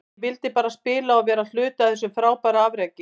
Ég vildi bara spila og vera hluti af þessu frábæra afreki.